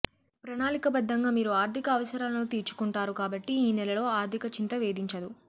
ప్రణాళికాబద్ధంగా మీరు ఆర్థిక అవసరాలను తీర్చుకుంటారు కాబట్టి ఈ నెలలో ఆర్థిక చింత వేధించదు